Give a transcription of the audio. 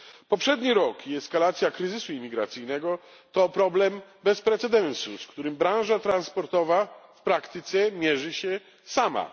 Poprzedni rok i eskalacja kryzysu imigracyjnego to problem bez precedensu, z którym branża transportowa w praktyce mierzy się sama.